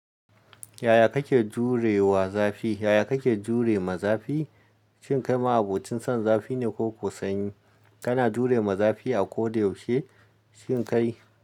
Yaya kake jure wa zafi. Yaya kake jure ma zafi. Shin kai ma abocin son zafi ne ko sanyi. Kana jure ma zafi a koda yaushe. Shin kai.